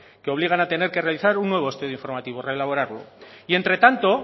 que obligan a tener que realizar un nuevo estudio informativo reelaborarlo y